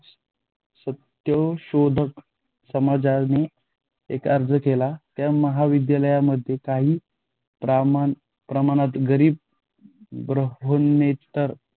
सत्यशोधक समाजान एक अर्ज केला. त्या महाविद्यालयामध्ये काही प्रमाणात गरी ब्राह्मणेतर